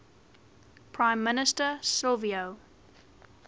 prime minister silvio